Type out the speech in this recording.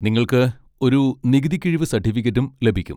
നിങ്ങൾക്ക് ഒരു നികുതി കിഴിവ് സർട്ടിഫിക്കറ്റും ലഭിക്കും.